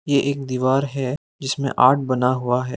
ये एक दीवार है जिसमें आर्ट बना हुआ है।